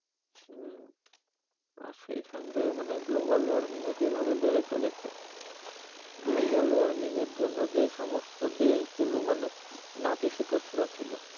হম, আর সেইসঙ্গে মানে global warming ও যেভাবে বেড়ে চলেছে global warming এর জন্যে যেসমস্থ দেশ গুলো মানে নাতিসিতিষ্ণ ছিলো